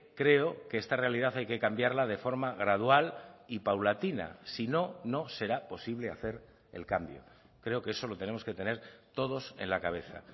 creo que esta realidad hay que cambiarla de forma gradual y paulatina si no no será posible hacer el cambio creo que eso lo tenemos que tener todos en la cabeza